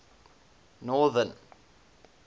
northern